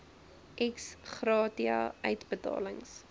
ex gratia uitbetalings